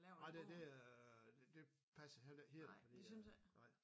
Nej det det er det passer heller ikke helt for det er nej